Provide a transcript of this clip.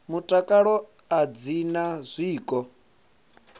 mutakalo a dzi na zwiko